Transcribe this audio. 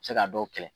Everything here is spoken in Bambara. Se ka dɔw kɛlɛ